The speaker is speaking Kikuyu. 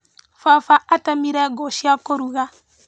Baba atemire ngũ cia kũruga.